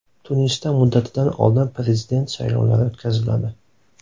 Tunisda muddatidan oldin prezident saylovlari o‘tkaziladi.